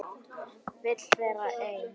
Vil vera ein.